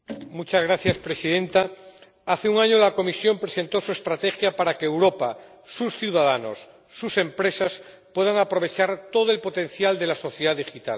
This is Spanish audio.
Señora Presidenta, hace un año la Comisión presentó su estrategia para que Europa, sus ciudadanos y sus empresas puedan aprovechar todo el potencial de la sociedad digital.